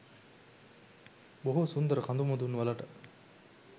බොහෝ සුන්දර කදුමුදුන් වලට